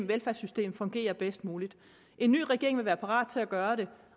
velfærdssystem fungerer bedst muligt en ny regering vil være parat til at gøre det